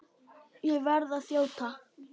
Ég verð að þjóta!